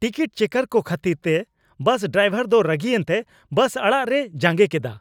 Ticket checker ᱠᱚ ᱠᱷᱟᱹᱛᱤᱨ ᱛᱮ ᱵᱟᱥ ᱰᱨᱟᱭᱵᱷᱟᱨ ᱫᱚ ᱨᱟᱹᱜᱤ ᱮᱱᱛᱮ ᱵᱟᱥ ᱟᱲᱟᱜ ᱨᱮᱭ ᱡᱟᱸᱜᱮ ᱠᱮᱫᱟ ᱾